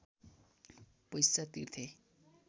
पैसा तिर्थे